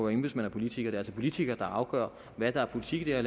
embedsmand og politiker det er altså politikere der afgør hvad der er politikken i